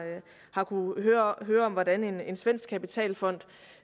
har kunnet høre høre om hvordan en svensk kapitalfond